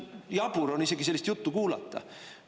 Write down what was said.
Jabur on isegi sellist juttu kuulata.